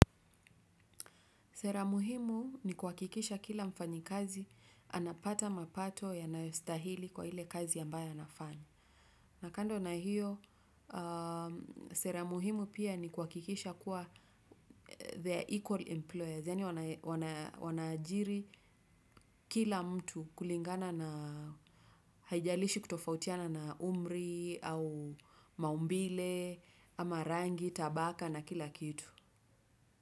Sera muhimu ni kuhakikisha kila mfanyikazi, anapata mapato yanayostahili kwa ile kazi ambayo anafanya. Na kando na hiyo, sera muhimu pia ni kuhakikisha kuwa the equal employer, yaani wanaajiri kila mtu kulingana na haijalishi kutofautiana na umri au maumbile ama rangi, tabaka na kila kitu.